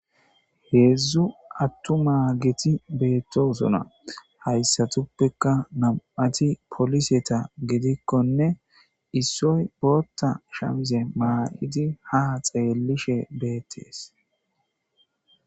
Heedzdzu attu maa geti beettosona hayssatuppeka nam7ati poliseta gedikkonne issoy bootta shamze maa7idi ha xeellishe beettees.